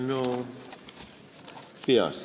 No peast ...